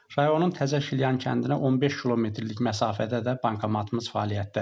Rayonun Təzəşilyan kəndinə 15 kilometrlik məsafədə də bankomatımız fəaliyyətdədir.